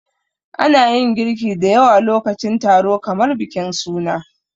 Ana yin girki da yawa lokacin taro kamar bikin suna.